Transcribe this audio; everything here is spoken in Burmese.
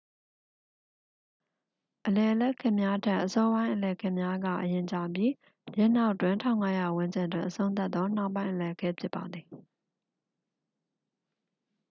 အလယ်အလတ်ခေတ်များထက် အစောပိုင်းအလယ်ခေတ်များက အလျင်ကျပြီး ယင်းနောက်တွင် 1500 ဝန်းကျင်တွင် အဆုံးသတ်သော နှောင်းပိုင်းအလယ်ခေတ် ဖြစ်ပါသည်